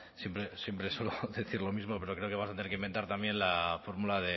siempre suelo decir lo mismo pero creo que vas a tener que inventar también la fórmula